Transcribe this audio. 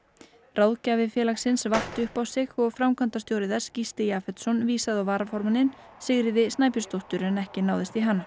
ráðgjafi félagsins vatt upp á sig og framkvæmdastjóri þess Gísli vísaði á varaformanninn Sigríði Snæbjörnsdóttur ekki náðist í hana